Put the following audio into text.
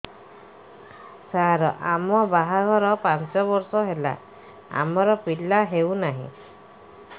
ସାର ଆମ ବାହା ଘର ପାଞ୍ଚ ବର୍ଷ ହେଲା ଆମର ପିଲା ହେଉନାହିଁ